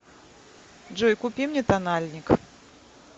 джой купи мне тональник